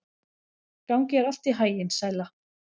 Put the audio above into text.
Gangi þér allt í haginn, Sæla.